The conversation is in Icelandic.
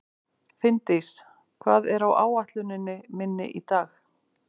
Finndís, hvað er á áætluninni minni í dag?